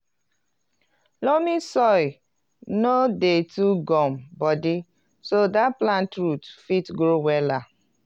loamy soil no dey too gum-bodi so dat plant root fit grow wella